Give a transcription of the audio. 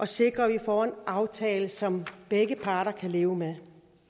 sikrer at vi får en aftale som begge parter kan leve med